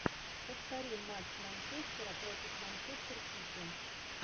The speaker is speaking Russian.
повтори матч манчестера против манчестер сити